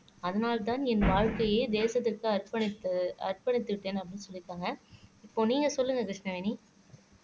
அதனால்தான் என் வாழ்க்கையே தேசத்திற்கு அர்ப்பணித்து அர்ப்பணித்து விட்டேன் அப்படின்னு சொல்லியிருக்காங்க இப்போ நீங்க சொல்லுங்க கிருஷ்ணவேணி